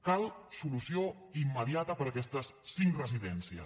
cal solució immediata per a aquestes cinc residències